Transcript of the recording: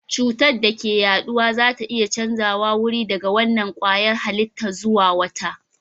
Cutar da ke yaduwa za a iya canjawa wuri daga wannan kwayar halitta zuwa wata